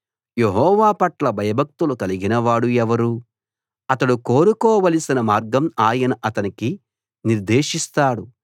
యెహోవా పట్ల భయభక్తులు కలిగినవాడు ఎవరు అతడు కోరుకోవలసిన మార్గం ఆయన అతనికి నిర్దేశిస్తాడు